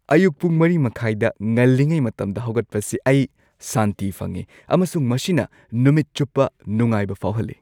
ꯑꯌꯨꯛ ꯄꯨꯡ ꯴.꯳꯰ ꯗ ꯉꯜꯂꯤꯉꯩ ꯃꯇꯝꯗ ꯍꯧꯒꯠꯄꯁꯤ ꯑꯩ ꯁꯥꯟꯇꯤ ꯐꯪꯢ ꯑꯃꯁꯨꯡ ꯃꯁꯤꯅ ꯅꯨꯃꯤꯠ ꯆꯨꯞꯄ ꯅꯨꯡꯉꯥꯏꯕ ꯐꯥꯎꯍꯜꯂꯤ ꯫